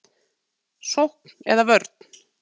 Sókn eða vörn?